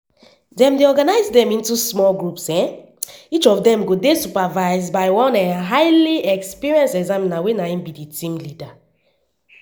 dem dey organise dem into small groups each of dem go dey supervised by one um highly experienced examiner wey be di team leader.